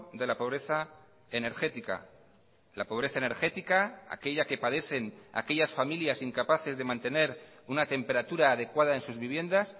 de la pobreza energética la pobreza energética aquella que padecen aquellas familias incapaces de mantener una temperatura adecuada en sus viviendas